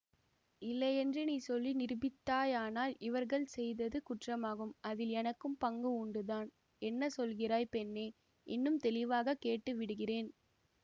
இல்லையென்று நீ சொல்லி நிரூபித்தாயானால் இவர்கள் செய்தது குற்றமாகும் அதில் எனக்கும் பங்கு உண்டுதான் என்ன சொல்கிறாய் பெண்ணே இன்னும் தெளிவாகவே கேட்டு விடுகிறேன்